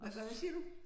Hvad siger du?